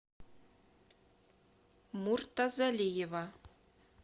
муртазалиева